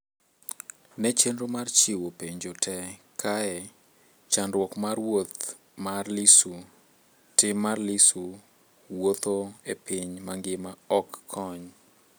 Ne chenro mar chiwo penjo te kae: chandruok mar wuoth mar Lissu " Tim mar Lissu wuotho e piny mangima ok kony"